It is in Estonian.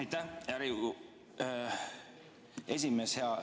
Aitäh, hea Riigikogu esimees!